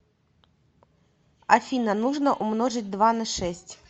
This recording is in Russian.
афина нужно умножить два на шесть